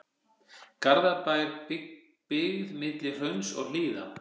Garðabær, byggð milli hrauns og hlíða.